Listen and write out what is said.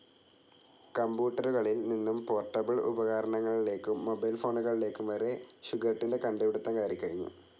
കമ്പൂട്ടറുകളിൽ നിന്നും പോർട്ടബിൾ ഉപകാരണങ്ങളിലേക്കും മൊബൈൽ ഫോണുകളലേക്കും വരെ ഷുഗർട്ടിൻ്റെ കണ്ടുപിടിത്തം കയറികഴിഞ്ഞു..